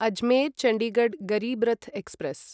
Ajmer Chandigarh Garib Rath express